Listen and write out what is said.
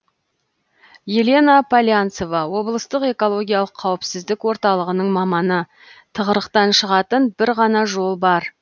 елена полянцева облыстық экологиялық қауіпсіздік орталығының маманы тығырықтан шығатын бір ғана жол бар